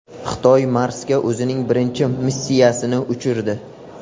Xitoy Marsga o‘zining birinchi missiyasini uchirdi .